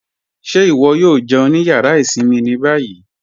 Ṣé iwọ̀ yóò jẹun ní yàrá ìṣinmí ní bayí?